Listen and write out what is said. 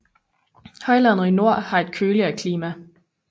Højlandet i nord har et køligere klima